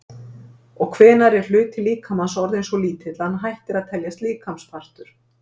Og hvenær er hluti líkamans orðinn svo lítill að hann hættir að teljast líkamspartur?